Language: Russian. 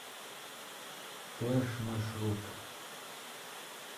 флэш маршрут